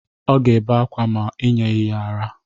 Ọ ga-ebe ákwá ma i nyeghi ya ara.